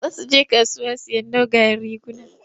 Za su je kasuwa sayen dogayen riguna.